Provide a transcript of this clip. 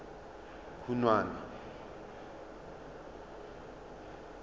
khunwana